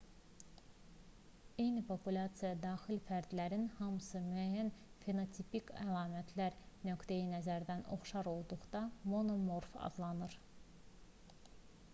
eyni populyasiyaya daxil fərdlərin hamısı müəyyən fenotipik əlamət nöqteyi-nəzərdən oxşar olduqda monomorf adlanırlar